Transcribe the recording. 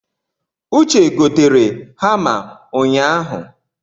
Uche gotere hama unyahụ